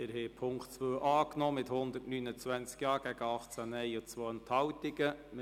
Sie haben den Punkt 2 mit 129 Ja- gegen 18 Nein-Stimmen bei 2 Enthaltungen angenommen.